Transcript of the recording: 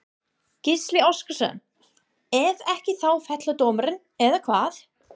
Gísli Óskarsson: Ef ekki þá fellur dómur, eða hvað?